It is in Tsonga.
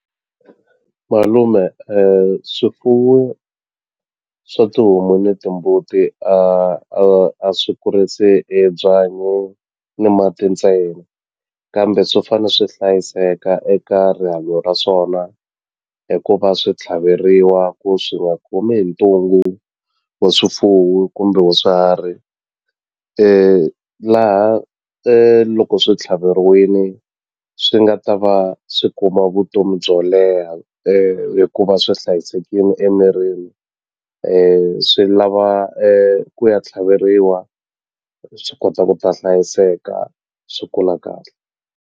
Malume swifuwo swa tihomu ni timbuti a a a swi kurisi hi byanyi ni mati ntsena kambe swo fane swi hlayiseka eka rihanyo ra swona hikuva swi tlhaveriwa ku swi nga khomi hi ntungu wa swifuwo kumbe wa swiharhi laha loko swi tlhaveriwini swi nga ta va swi kuma vutomi byo leha hikuva swi hlayisekini emirini swi lava ku ya tlhaveriwa swi kota ku ta hlayiseka swi kula kahle.